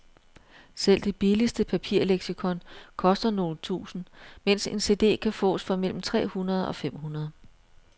Selv det billigste papirleksikon koster nogle tusinde, mens en cd kan fås for mellem tre hundrede og fem hundrede.